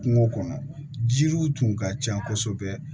Kungo kɔnɔ jiriw tun ka ca kosɛbɛ